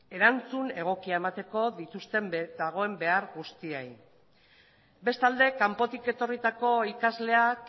erantzun egokia emateko dagoen behar guztiei bestalde kanpotik etorritako ikasleak